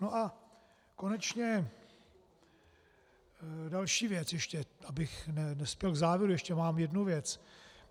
No a konečně, další věc ještě, abych nespěl k závěru, ještě mám jednu věc.